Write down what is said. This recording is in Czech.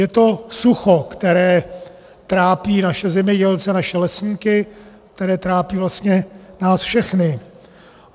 Je to sucho, které trápí naše zemědělce, naše lesníky, které trápí vlastně nás všechny.